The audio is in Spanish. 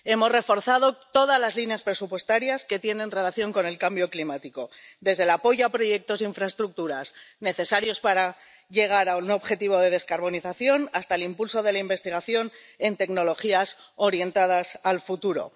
Hemos reforzado todas las líneas presupuestarias que tienen relación con el cambio climático, desde el apoyo a proyectos de infraestructuras necesarios para llegar a un objetivo de descarbonización hasta el impulso de la investigación en tecnologías orientadas al futuro.